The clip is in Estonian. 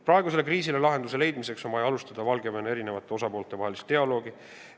Praegusele kriisile lahenduse leidmiseks on vaja alustada Valgevene eri osapoolte vahel dialoogi.